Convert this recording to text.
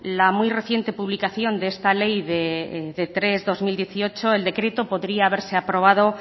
la muy reciente publicación de esta ley de tres barra dos mil dieciocho el decreto podría haberse aprobado